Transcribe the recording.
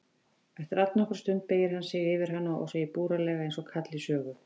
Eftir allnokkra stund beygir hann sig yfir hana og segir búralega einsog kall í sögu